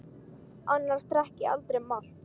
Annars drekk ég aldrei malt.